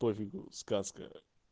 пофигу сказка